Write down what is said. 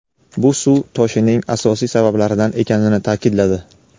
bu suv toshining asosiy sabablaridan ekanini ta’kidladi.